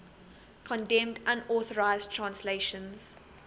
condemned unauthorized translations